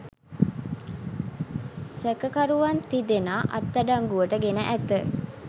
සැකකරුවන් තිදෙනා අත්අඩංගුවට ගෙන ඇත